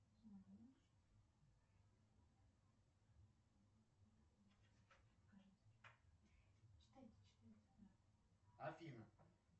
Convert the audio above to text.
афина